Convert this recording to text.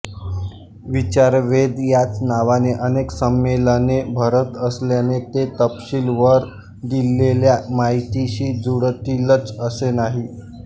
विचारवेध याच नावाने अनेक संमेलने भरत असल्याने ते तपशील वर दिलेल्या माहितीशी जुळतीलच असे नाही